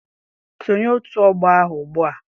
Sonye otu ọgbọ ahụ ugbua!